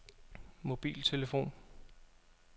mobiltelefon